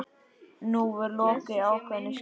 Nú er lokið ákveðnu skeiði.